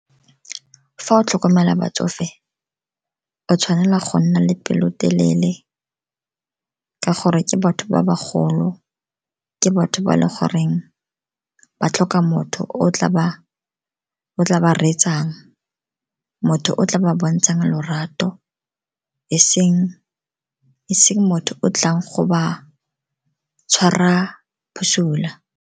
Fa o tlhokomela batsofe, o tshwanela go nna le pelotelele ka gore ke batho ba ba golo, ke batho ba eleng gore ba tlhoka motho o ba tla ba reetsang, motho o tla ba bontshang lorato, eseng motho o tlang go ba tshwara bosula.